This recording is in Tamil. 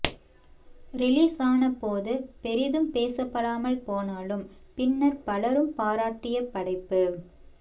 ரிலீஸ் ஆன போது பெரிதும் பேசப்படாமல் போனாலும் பின்னர் பலரும் பாராட்டிய படைப்பு